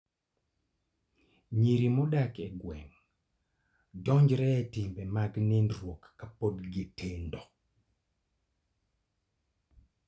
Nyiri modak e gweng' donjore e timbe mag nindruok kapod gitindo.